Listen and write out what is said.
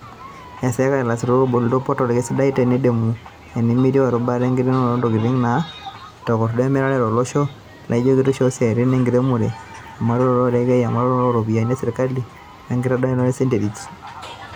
E eseka ilaisutuk ebolito potal, kesidai tenidamu enetieu erubata e nkiremore o ntokitin natakordo emirare tolosho laaijo enkitisho o siatin enkiremore, emonaroto o rekei, emponaroto o ropiyiani e sirkali, wenkitadoyia enterit.